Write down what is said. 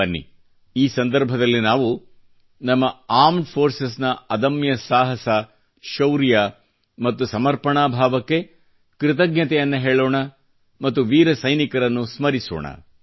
ಬನ್ನಿ ಈ ಸಂದರ್ಭದಲ್ಲಿ ನಾವಿ ನಮ್ಮ ಂಡಿmeಜ ಈoಡಿಛಿes ನ ಅದಮ್ಯ ಸಾಹಸ ಶೌರ್ಯ ಮತ್ತು ಸಮರ್ಪಣ ಭಾವಕ್ಕೆ ಕೃತಜ್ಞತೆಯನ್ನು ಹೇಳೋಣ ಮತ್ತು ವೀರ ಸೈನಿಕರನ್ನು ಸ್ಮರಿಸೋಣ